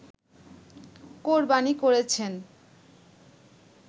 কোরবানী করেছেন